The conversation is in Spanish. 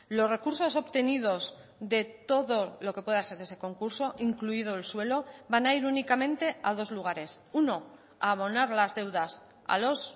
los recursos obtenidos de todo lo que pueda ser ese concurso incluido el suelo van a ir únicamente a dos lugares uno a abonar las deudas a los